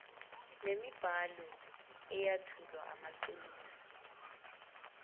nemibhalo eyethula amaqiniso